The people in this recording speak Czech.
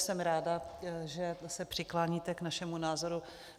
Jsem ráda, že se přikláníte k našemu názoru.